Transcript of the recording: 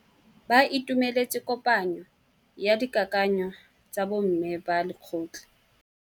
Ba itumeletse kôpanyo ya dikakanyô tsa bo mme ba lekgotla.